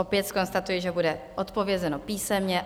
Opět zkonstatuji, že bude odpovězeno písemně.